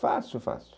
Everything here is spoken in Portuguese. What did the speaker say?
Fácil, fácil.